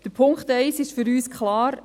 Der Punkt 1 ist für uns klar.